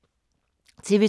TV 2